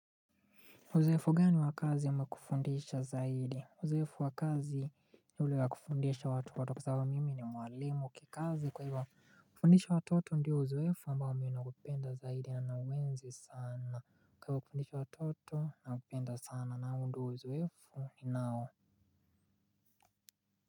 Uzoefu gani wa kazi umekufundisha zaidi? Uzoefu wakazi ule wa kufundisha watoto kwa sababu mimi ni mwalimu kikazi kwa hivyo, kufundisha watoto ndio uzoefu ambao mimi naupenda zaidi na nauenzi sana. Kwa hivyo kufundisha watoto nakupenda sana na huu ndio uzoefu ninao.